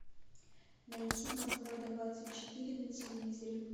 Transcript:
найти москва двадцать четыре на телевизоре